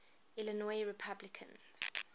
illinois republicans